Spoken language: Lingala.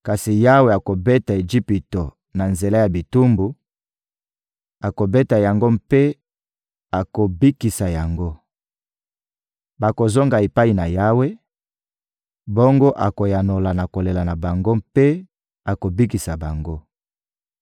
Kasi Yawe akobeta Ejipito na nzela ya bitumbu, akobeta yango mpe akobikisa yango. Bakozonga epai na Yawe, bongo akoyanola na kolela na bango mpe akobikisa bango.